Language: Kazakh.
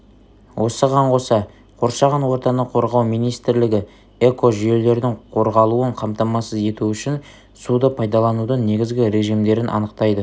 осыған қоса қоршаған ортаны қорғау министрлігі экожүйелердің қорғалуын қамтамасыз ету үшін суды пайдаланудың негізгі режимдерін анықтайды